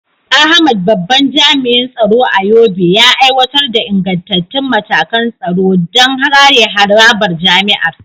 Ahmad, babban jami’in tsaro a Yobe, ya aiwatar da ingantattun matakan tsaro don kare harabar jami’ar.